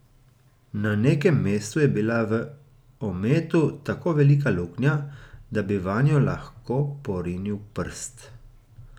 Na nekem mestu je bila v ometu tako velika luknja, da bi vanjo lahko porinil prst.